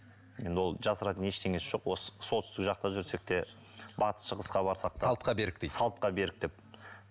енді ол жасыратын ештеңесі жоқ осы солтүстік жақта жүрсек те батыс шығысқа барсақ та салтқа берік дейді салтқа берік деп